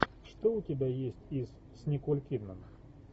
что у тебя есть из с николь кидман